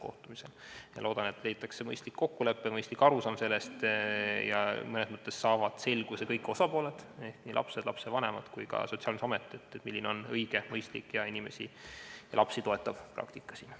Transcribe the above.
Ma loodan, et jõutakse mõistliku kokkuleppe ja mõistliku arusaamani ning et kõik osapooled ehk nii lapsed, lapsevanemad kui ka Sotsiaalkindlustusamet saavad selguse, milline on siin õige, mõistlik ja lapsi toetav praktika.